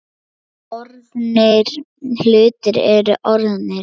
Orðnir hlutir eru orðnir.